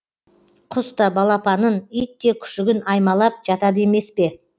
құс та балапанын ит те күшігін аймалап жатады емес пе